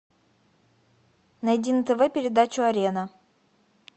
найди на тв передачу арена